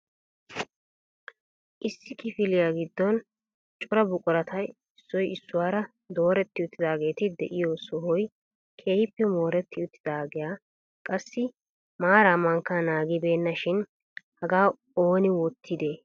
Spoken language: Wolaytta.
Issi kifiliyaa giddon Cora buqurata issoy issuwaara dooretti uttidaageeti de'iyo sohoy keehippe mooretti uttidaaganne qassi maara mankka naagibeena shin hagaa Oona wottide?